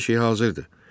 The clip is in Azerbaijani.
Hər şey hazırdır.